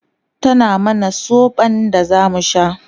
tana mana sobon da zamu sha